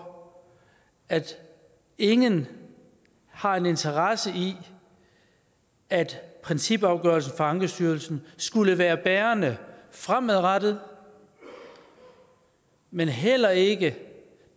at ingen har en interesse i at principafgørelsen fra ankestyrelsen skulle være bærende fremadrettet men heller ikke